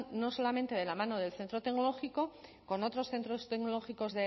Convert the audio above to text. no solamente de la mano del centro tecnológico con otros centros tecnológicos